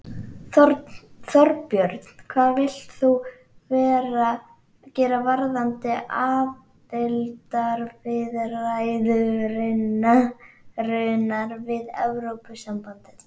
Þorbjörn: Hvað vilt þú gera varðandi aðildarviðræðurnar við Evrópusambandið?